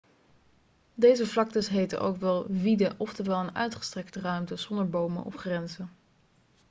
deze vlaktes heten ook wel vidde' oftewel een uitgestrekte ruimte zonder bomen of grenzen